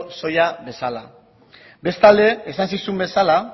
soila bezala bestalde esan zizun bezala